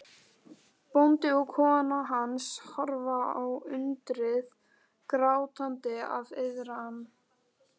Bóndi og kona hans horfa á undrið, grátandi af iðran.